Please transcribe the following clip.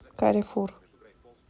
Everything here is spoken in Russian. каррефур